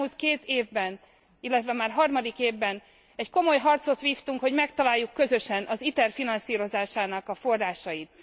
Az elmúlt két évben illetve már harmadik évben egy komoly harcot vívtunk, hogy megtaláljuk közösen az ITER finanszírozásának a forrásait.